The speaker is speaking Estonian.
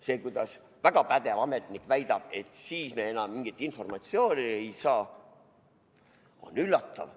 See, kuidas väga pädev ametnik väidab, et siis me enam mingit informatsiooni ei saa, on üllatav.